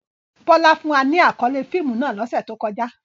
Bola fun wa ni akọle fiimu náà lose to koja.